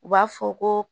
U b'a fɔ ko